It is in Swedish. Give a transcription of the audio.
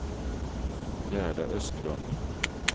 Gerda Östlund